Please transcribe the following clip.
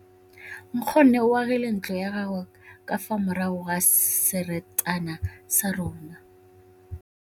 Nkgonne o agile ntlo ya gagwe ka fa morago ga seterata sa rona.